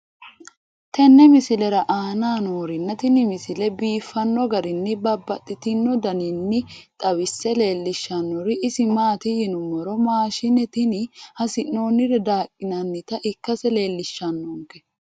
tenne misile aana noorina tini misile biiffanno garinni babaxxinno daniinni xawisse leelishanori isi maati yinummoro maashshinne tinni hasi'noonnire daaqinannitta ikkasse leelishshannonke